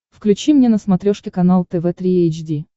включи мне на смотрешке канал тв три эйч ди